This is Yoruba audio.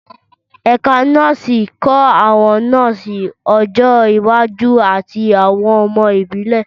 Ẹ̀ka nọ́ọ̀sì ń kọ́ àwọn nọ́ọ̀sì ọjọ́ iwájú àti àwọn ọmọ ìbílẹ̀.